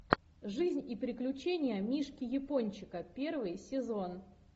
жизнь и приключения мишки япончика первый сезон